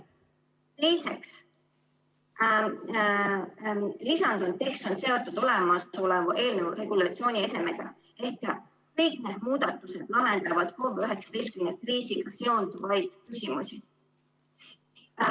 Teiseks, lisandunud tekst on seotud olemasoleva eelnõu regulatsiooni esemega ehk kõik need muudatused lahendavad COVID-19 kriisiga seonduvaid küsimusi.